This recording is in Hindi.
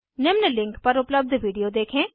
निम्न लिंक पर उपलब्ध वीडियो देखें